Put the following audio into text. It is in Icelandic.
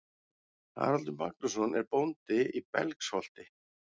Haraldur Magnússon er bóndi í Belgsholti.